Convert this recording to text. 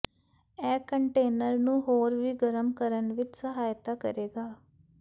ਇਹ ਕੰਟੇਨਰ ਨੂੰ ਹੋਰ ਵੀ ਗਰਮ ਕਰਨ ਵਿੱਚ ਸਹਾਇਤਾ ਕਰੇਗਾ